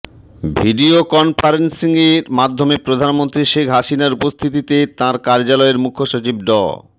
video কনফারেন্সিংয়ের মাধ্যমে প্রধানমন্ত্রী শেখ হাসিনার উপস্থিতিতে তাঁর কার্যালয়ের মুখ্য সচিব ড